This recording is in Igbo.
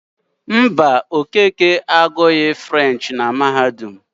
Mba, Okeke agụghị asụsụ Frenchị na mahadum.